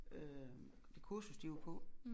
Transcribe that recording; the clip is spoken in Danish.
Øh det kursus de var på